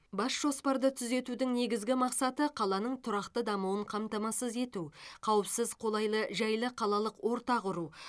бас жоспарды түзетудің негізгі мақсаты қаланың тұрақты дамуын қамтамасыз ету қауіпсіз қолайлы жайлы қалалық орта құру